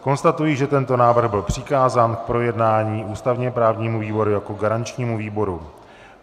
Konstatuji, že tento návrh byl přikázán k projednání ústavně-právnímu výboru jako garančnímu výboru.